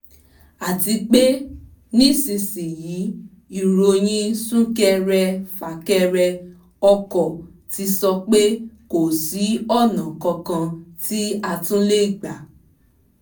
àti pé nísinsìnyí ìròyìn súnkẹrẹ fàkẹrẹ ọkọ ti sọ pé kò sí ọ̀nà kankan tí a tún lè gbà